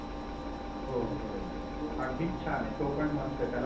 हो हो बरोबर आहे अगदीच छान आहे. तो पण मस्त त्याला खूप आवडलं.